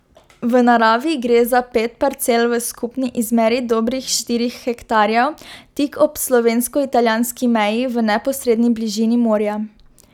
V naravi gre za pet parcel v skupni izmeri dobrih štirih hektarjev tik ob slovensko italijanski meji v neposredni bližini morja.